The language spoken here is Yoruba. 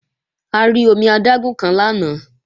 A rí omi adágún kan lánàá